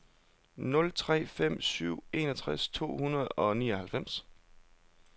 nul tre fem syv enogtres to hundrede og nioghalvfems